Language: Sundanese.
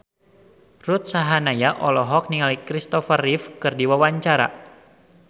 Ruth Sahanaya olohok ningali Christopher Reeve keur diwawancara